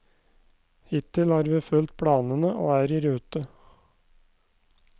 Hittil har vi fulgt planene og er i rute.